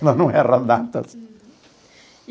Ela não erra datas.